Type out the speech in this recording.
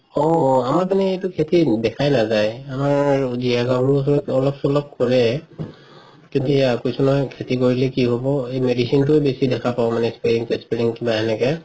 অ অ আমাৰ পিনেতো খেতি দেখাই নাজাই আমাৰ অলপ চলপ কৰে কেতিয়া কৈছো নহয় খেতি কৰিলে কি হব এই medicine তোৱে বেচি দেখা পাওঁ মানে কিবা সেনেকে